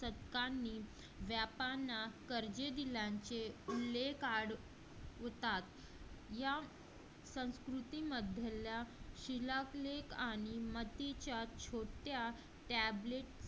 होतात या संस्कृतीमध्ये शिलालेख आणि मतीच्या